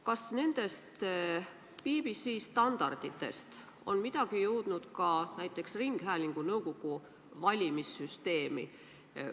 Kas nendest BBC standarditest on midagi jõudnud ka näiteks ringhäälingunõukogu valimise süsteemi?